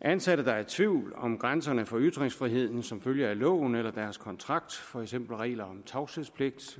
ansatte der er i tvivl om grænserne for ytringsfrihed som følge af loven eller deres kontrakt for eksempel regler om tavshedspligt